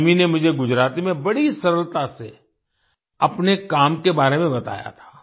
तन्वी ने मुझे गुजराती में बड़ी सरलता से अपने काम के बारे में बताया था